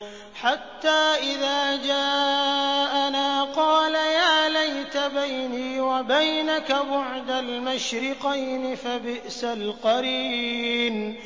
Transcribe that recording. حَتَّىٰ إِذَا جَاءَنَا قَالَ يَا لَيْتَ بَيْنِي وَبَيْنَكَ بُعْدَ الْمَشْرِقَيْنِ فَبِئْسَ الْقَرِينُ